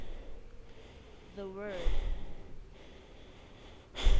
the word